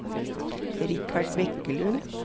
Richard Bekkelund